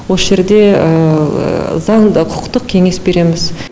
осы жерде заңды құқықтық кеңес береміз